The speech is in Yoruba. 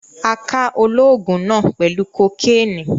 A ká olóògùn náà pẹlu kò Kénì